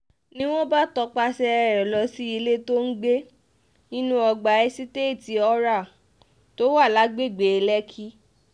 ni wọ́n bá tọpasẹ̀ rẹ̀ lọ sí ilé tó ń gbé nínú ọgbà èsiteetí oral tó wà lágbègbè lẹ́kì